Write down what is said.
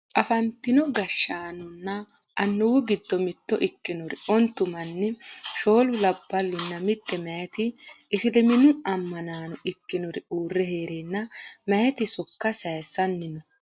afantino gashshaanonna annuwu giddo mitto ikkinori ontu manni shoolu labballunna mitte mayeeti isiliminnu ammanaano ikkinori uurre heereenna mayeeti sokka sayeessanni no